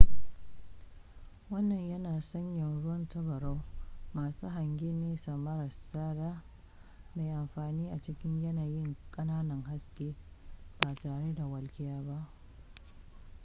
wannan yana sanya ruwan tabarau masu hangyen nesa mara tsada mai amfani a cikin yanayin ƙananan haske ba tare da walƙiya ba